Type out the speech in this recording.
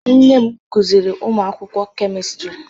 Nne m kụziiri ụmụ akwụkwọ kemistri